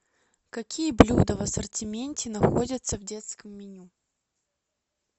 какие блюда в ассортименте находятся в детском меню